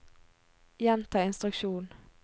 gjenta instruksjon